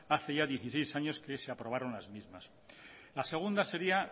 hace ya dieciséis años que se aprobaron las mismas la segunda sería